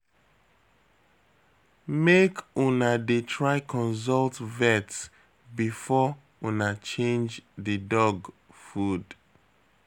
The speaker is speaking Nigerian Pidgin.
Make una dey try consult vet before una change di dog food.